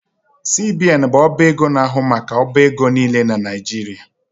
CBN bụ ọba ego na-ahụ maka ọbaego nile na Nijirịa